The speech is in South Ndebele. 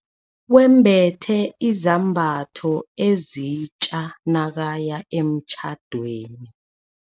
Wembethe izambatho ezitja nakaya emtjhadweni.